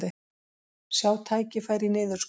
Sjá tækifæri í niðurskurði